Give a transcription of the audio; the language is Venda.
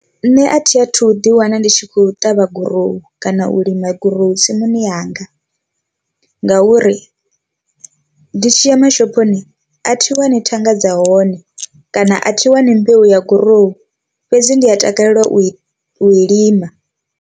Nṋe a thi a thu ḓi wana ndi tshi khou ṱavha gurowu kana u lima gurowu tsimuni yanga, ngauri ndi tshi ya mashophoni a thi wani thanga dza hone kana a thi wani mbeu ya gurowu fhedzi ndi a takalela u i u lima.